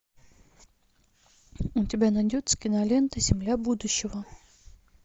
у тебя найдется кинолента земля будущего